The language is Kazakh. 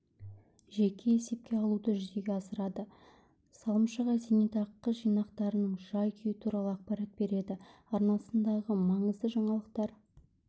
жеке есепке алуды жүзеге асырады салымшыға зейнетақы жинақтарының жай-күйі туралы ақпарат береді арнасындағы маңызды жаңалықтар